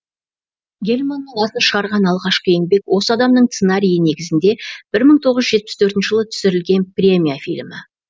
гельманның атын шығарған алғашқы еңбек осы адамның сценарийі негізінде бір мың тоғыз жүз жетпіс төртінші жылы түсірілген премия фильмі